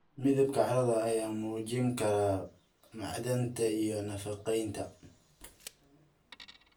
Midabka carrada ayaa muujin kara macdanta iyo nafaqeynta.